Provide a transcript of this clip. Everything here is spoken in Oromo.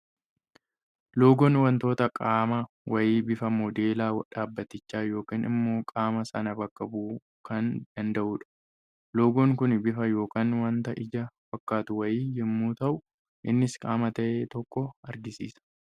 Loogoon waantota qaama wayii bifa moodeela dhaabbatichaa yookaan immoo qaama sana bakka bu'uu kan danda'udha. Loogoon Kun bifa yookaan waanta ija fakkaatu wayii yemmuu ta'u, innis qaama ta'e tokko argisiisa.